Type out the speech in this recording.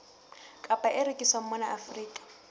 kapa e rekiswang mona afrika